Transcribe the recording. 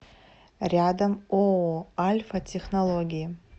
рядом ооо альфа технологии